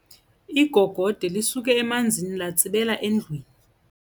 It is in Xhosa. Igogode lisuke emanzini latsibela endlwini.